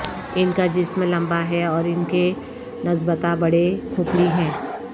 ان کا جسم لمبا ہے اور ان کے نسبتا بڑے کھوپڑی ہیں